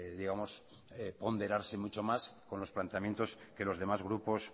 digamos ponderarse mucho más con los planteamientos que los demás grupos